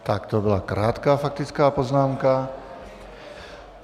Tak to byla krátká faktická poznámka.